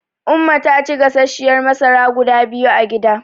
Umma ta ci gasasshiyar masara guda biyu a gida.